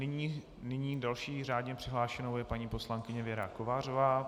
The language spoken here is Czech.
Nyní další řádně přihlášenou je paní poslankyně Věra Kovářová.